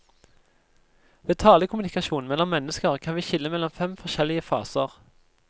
Ved talekommunikasjon mellom mennesker kan vi skille mellom fem forskjellige faser.